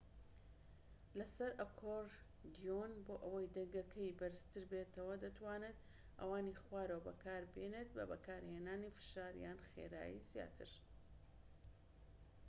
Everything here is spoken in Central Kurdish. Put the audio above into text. لەسەر ئەکۆردیۆن بۆ ئەوەی دەنگەکەی بەرزتر بێتەوە دەتوانیت ئەوانی خوارەوە بەکاربێنیت بە بەکارهێنانی فشار یان خێرایی زیاتر